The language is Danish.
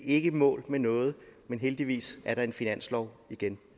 ikke i mål med noget men heldigvis er der en finanslov igen